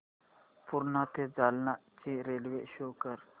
पूर्णा ते जालना ची railway show कर